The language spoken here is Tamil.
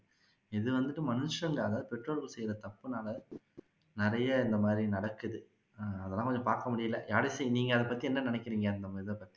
இது வந்து மனுஷங்க அதாவது பெற்றோர்கள் செய்யுற தப்புனால நிறைய இந்த மாதிரி நடக்குது ஆஹ் அதெல்ல்லாம் வந்து பாக்க முடியல யாழிசை நீங்க அதை பத்தி என்ன நினைக்குறீங்க அந்த இதை பத்தி